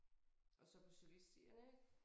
Og så på cykelstierne ik